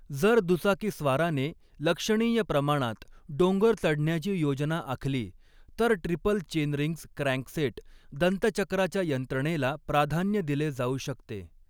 जर दुचाकी स्वाराने लक्षणीय प्रमाणात डोंगर चढण्याची योजना आखली, तर ट्रिपल चेनरिंग्स क्रॅन्कसेट दंतचक्राच्या यंत्रणेला प्राधान्य दिले जाऊ शकते.